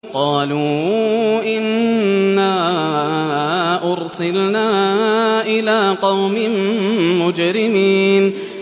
قَالُوا إِنَّا أُرْسِلْنَا إِلَىٰ قَوْمٍ مُّجْرِمِينَ